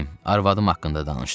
Evim, arvadım haqqında danışdım.